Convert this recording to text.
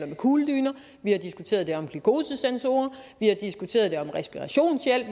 med kugledyner vi har diskuteret det om glukosesensorer vi har diskuteret det om respirationshjælp